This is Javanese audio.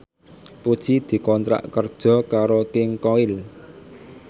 Puji dikontrak kerja karo King Koil